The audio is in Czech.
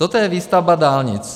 Toto je výstavba dálnic.